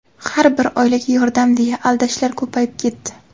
"har bir oilaga yordam" deya aldashlar ko‘payib ketdi.